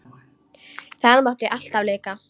Þar mátti alltaf leika.